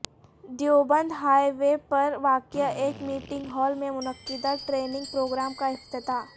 Deoband highway پر واقع ایک میٹنگ ہال میں منعقدہ ٹریننگ پروگرام کا افتتاح